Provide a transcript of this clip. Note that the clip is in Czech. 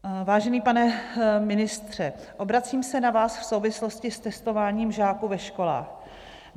Vážený pane ministře, obracíme se na vás v souvislosti s testováním žáků ve školách.